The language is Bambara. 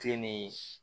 Filen nin